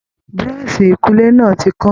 Buroṣi ikunle náà ti kán.